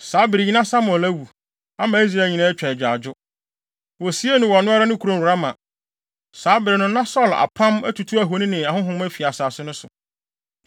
Saa bere yi na Samuel awu, ama Israel nyinaa atwa agyaadwo. Wosiee no wɔ ɔno ara ne kurom Rama. Saa bere no, na Saulo apam atutu ahoni ne ahonhom afi asase no so.